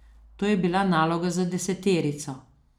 To je bila naloga za deseterico.